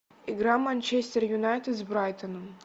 игра манчестер юнайтед с брайтоном